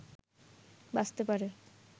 বাঁচতে পারে